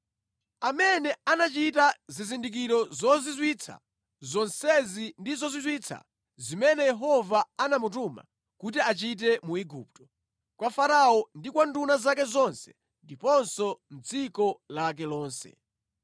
Amene anachita zizindikiro zozizwitsa zonsezi ndi zozizwitsa zimene Yehova anamutuma kuti achite mu Igupto, kwa Farao ndi kwa nduna zake zonse ndiponso mʼdziko lake lonse.